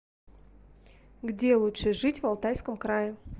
где лучше жить в алтайском крае